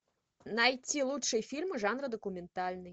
найти лучшие фильмы жанра документальный